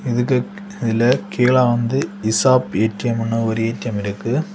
இதுக்கு இதுல கீழ வந்து இசாப் ஏ_டி_எம்ன்னு ஒரு ஏ_டி_எம் இருக்கு.